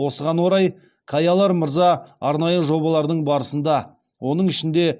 осыған орай каялар мырза арнайы жобалардың барысында оның ішінде